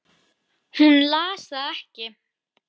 Hún las það ekki.